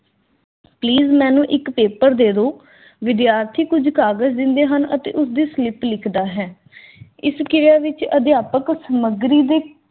please ਮੈਨੂੰ ਇੱਕ paper ਦੇਦੋ। ਵਿਦਿਆਰਥੀ ਕੁਝ ਕਾਗਜ਼ ਦਿੰਦੇ ਹਨ ਅਤੇ ਉਸਦੇ slip ਲਿਖਦਾ ਹੈ। ਇਸ ਕਿਰਿਆ ਵਿਚ ਅਧਿਆਪਕ ਸਮੱਗਰੀ ਦੇ